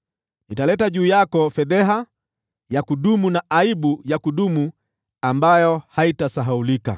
Nitaleta juu yako fedheha ya kudumu: yaani aibu ya kudumu ambayo haitasahaulika.”